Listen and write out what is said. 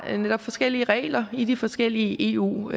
har forskellige regler i de forskellige eu